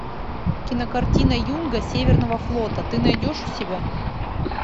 кинокартина юнга северного флота ты найдешь у себя